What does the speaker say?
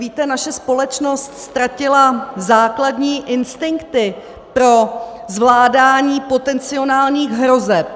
Víte, naše společnost ztratila základní instinkty pro zvládání potenciálních hrozeb.